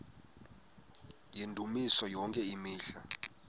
yendumiso yonke imihla